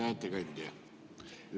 Hea ettekandja!